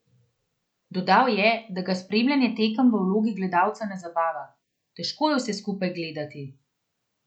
Dodal je, da ga spremljanje tekem v vlogi gledalca ne zabava: "Težko je vse skupaj gledati.